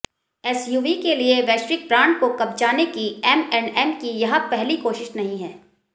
SUV के किसी वैश्विक ब्रांड को कब्जाने की एमऐंडएम की यह पहली कोशिश नहीं है